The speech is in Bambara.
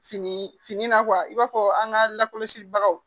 Fini fini na i b'a fɔ an ka lakɔlɔsibagaw